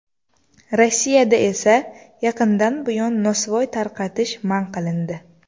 Rossiyada esa yaqindan buyon nosvoy tarqatish man qilindi.